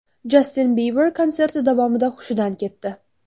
Jastin Biber konserti davomida hushidan ketdi.